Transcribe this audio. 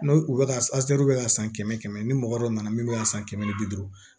N'o u bɛ ka bɛ ka san kɛmɛ ni mɔgɔ dɔ nana min bɛ ka san kɛmɛ ni bi duuru